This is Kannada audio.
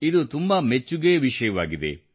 ಇದು ತುಂಬಾ ಮೆಚ್ಚುಗೆಯ ವಿಷಯವಾಗಿದೆ